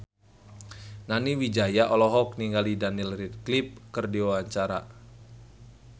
Nani Wijaya olohok ningali Daniel Radcliffe keur diwawancara